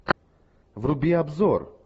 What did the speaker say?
вруби обзор